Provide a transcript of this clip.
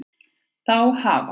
Þá hafa